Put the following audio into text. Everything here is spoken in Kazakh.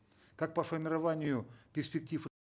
как по формированию перспектив